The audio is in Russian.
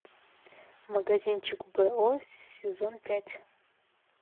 магазинчик бо сезон пять